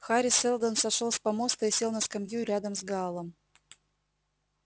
хари сэлдон сошёл с помоста и сел на скамью рядом с гаалом